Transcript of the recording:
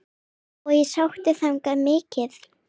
Og ég sótti þangað mikið.